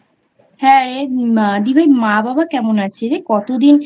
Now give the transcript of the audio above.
হ্যাঁ রে দিভাই মা বাবা কেমনআছে রে? কতদিন